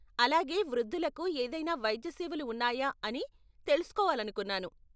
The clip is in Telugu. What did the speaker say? అలాగే, వృద్ధులకు ఏదైనా వైద్య సేవలు ఉన్నాయా అని తెలుసుకోవాలనుకున్నాను.